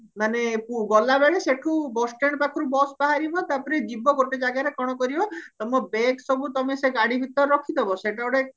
ମାନେ ମୁଁ ଗଲାବେଳେ ସେଠୁ bus stand ପାଖରୁ ବସ ବାହାରିବ ତାପରେ ଯିବ ଗୋଟେ ଜାଗାରେ କଣ କରିବ ତମ ବେଗ ସବୁ ସେ ଗାଡି ଭିତରେ ରଖିଡବା ସେଇଠି ଗୋଟେ